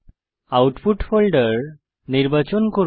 output folder নির্বাচন করুন